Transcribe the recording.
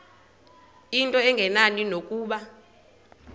into engenani nokuba